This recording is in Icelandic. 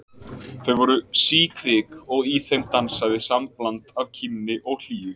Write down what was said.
Þau voru síkvik og í þeim dansaði sambland af kímni og hlýju.